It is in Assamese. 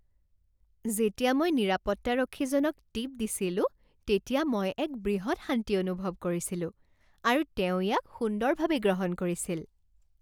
যেতিয়া মই নিৰাপত্তাৰক্ষীজনক টিপ দিছিলো তেতিয়া মই এক বৃহৎ শান্তি অনুভৱ কৰিছিলো, আৰু তেওঁ ইয়াক সুন্দৰভাৱে গ্ৰহণ কৰিছিল।